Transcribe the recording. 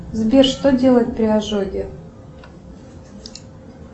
сбер что делать при ожоге